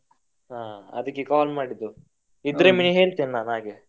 ಹಾ ಅದಿಕ್ಕೆ call ಮಾಡಿದ್ದು ಇದ್ರೆ ಹೇಳ್ತೇನೆ ನಾನು ಹಾಗೆ.